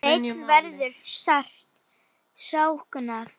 Sveins verður sárt saknað.